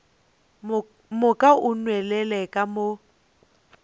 moka o nwelele ka mo